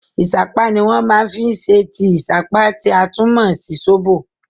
Ìṣápá ni wọ́n máa fi ṣe tíì ìṣápá, tí a tún mọ̀ sí sóbò.